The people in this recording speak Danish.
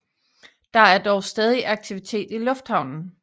Der er dog stadig aktivitet i lufthavnen